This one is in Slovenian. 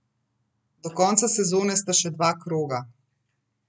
Do konca sezone sta še dva kroga.